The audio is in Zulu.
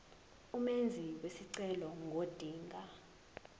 umenzi wesicelo ngodinga